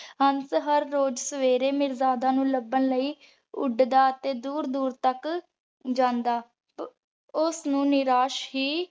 ਹੰਸ ਹਰ ਰੋਜ਼ ਸਵੇਰੇ ਮਿਰਜਾਦਾ ਨੂ ਲੱਭਣ ਲੈ ਉਡਦਾ ਤੇ ਦੂਰ ਦੂਰ ਤਕ ਜਾਂਦਾ। ਓਸ ਨੂ ਨਿਰਾਸ ਹੀ